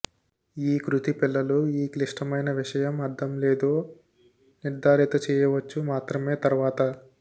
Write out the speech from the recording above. ఈ కృతి పిల్లలు ఈ క్లిష్టమైన విషయం అర్థం లేదో నిర్థారిత చేయవచ్చు మాత్రమే తర్వాత